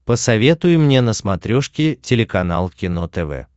посоветуй мне на смотрешке телеканал кино тв